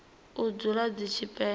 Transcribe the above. u dzula dzi tshi penya